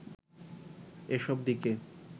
এসব দিকে